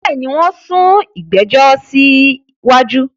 Bẹ́ẹ̀ni, wón sún ìgbẹ̀jọ̀ sí wájú